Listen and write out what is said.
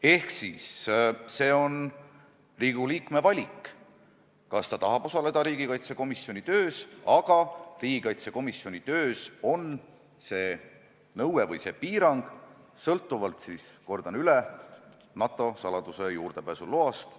Ehk see on Riigikogu liikme valik, kas ta tahab osaleda riigikaitsekomisjoni töös, kus on see nõue või piirang – kordan üle – sõltuvalt NATO saladuse juurdepääsuloast.